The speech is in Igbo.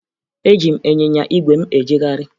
Eji m ịnyịnya ígwè m ejegharị